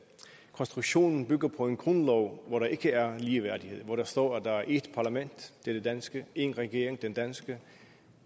konstruktionen bygger på en grundlov hvor der ikke er ligeværdighed hvor der står at der er ét parlament og det er det danske én regering nemlig den danske